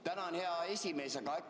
Tänan, hea esimees!